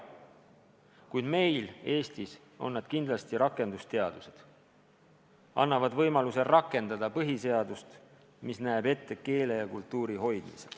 Kuid meil Eestis on need kindlasti rakendusteadused, mis annavad võimaluse rakendada põhiseadust, mis näeb ette keele ja kultuuri hoidmise.